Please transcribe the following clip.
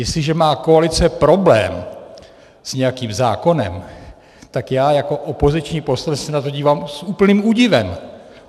Jestliže má koalice problém s nějakým zákonem, tak já jako opoziční poslanec se na to dívám s úplným údivem.